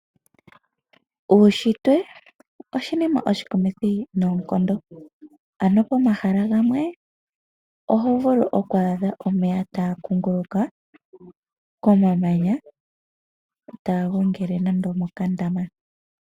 Uunshitwe oshinima oshikumithi noonkondo, ano pomahala gamwe oho vulu oku adha omeya taga kunguluka komamanya taga igongele nando omokandama.